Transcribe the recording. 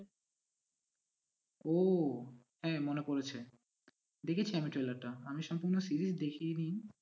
ও হ্যাঁ মনে পড়েছে দেখেছি আমি trailer টা আমি সম্পূর্ণ series দেখিই নি।